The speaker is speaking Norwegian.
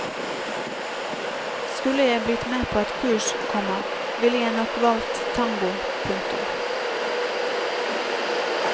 Skulle jeg blitt med på et kurs, komma ville jeg nok valgt tango. punktum